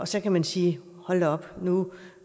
så kan man sige hold da op nu